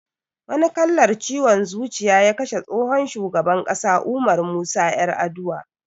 Wani kallar ciwon zuciya ya kashe tsohon shugaban ƙasa Umar Musa Yar'adua